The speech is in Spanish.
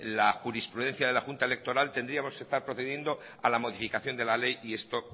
la jurisprudencia de la junta electoral tendríamos que estar procediendo a la modificación de la ley y esto